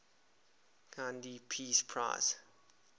gandhi peace prize